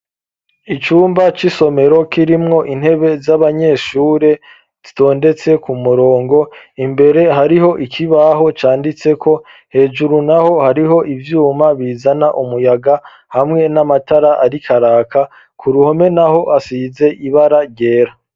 Icumba c'isomero kirimwo intebe z'abanyeshure zitondetse ku murongo, imbere hariho ikibaho canditseko, hejuru naho hariho ivyuma bizana umuyaga hamwe n'amatara arikaraka, ku ruhome naho asize ibara ryera.